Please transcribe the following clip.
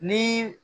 Ni